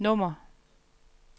nummer